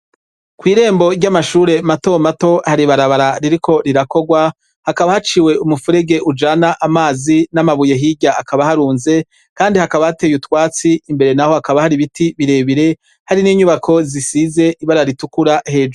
Kw’irembo ry’amashure mato mato hari ibarabara ririko rirakorwa, hakaba haciwe umuferege ujana amazi n’amabuye hirya akabaharunze Kandi hakaba hatey’utwatsi imbere naho hakaba har’ibiti birebire, hari n’inyubako zisize ibara ritukura hejuru.